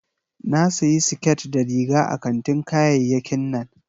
Na sayi siket da riga a kantin kayayyakin nan